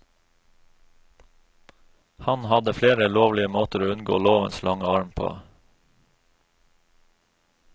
Han hadde flere lovlige måter å unngå lovens lange arm på.